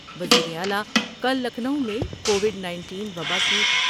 وزیر اعلی کل لکھنو میں کووڈ نائنٹین وبا کی ۔